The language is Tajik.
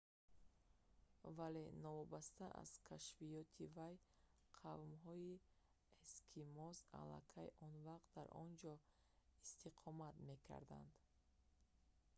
вале новобаста аз кашфиёти вай қавмҳои эскимос аллакай он вақт дар он ҷо истиқомат мекарданд